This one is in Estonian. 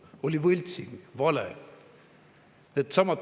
See oli võltsing, vale.